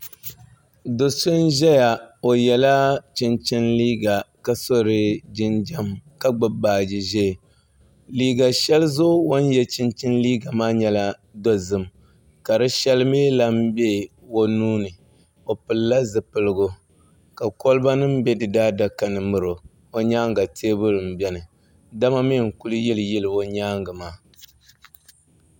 Do so n Zaya o yiɛla chinchini liiga ka so di jinjam ka gbubi baaji zɛɛ liiga shɛli zuɣu o ni yiɛ chinchini liiga maa yɛla dozim ka di shɛli mi kan nbɛ o nuu ni o pilila zupiligu ka koliba nim bɛ di daa daka ni n miri o o yɛanga tɛɛbuli n bɛni dama mi nkuli yili yili o yɛanga maa.